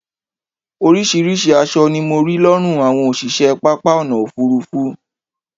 oríṣiríṣi aṣọ ni mo rí lọ́rùn àwọn òṣìṣẹ́ pápá ọ̀nà òfurufú